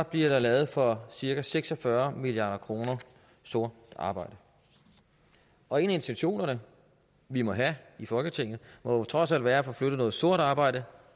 bliver der lavet for cirka seks og fyrre milliard kroner sort arbejde og en af intentionerne vi må have i folketinget må jo trods alt være at få flyttet noget sort arbejde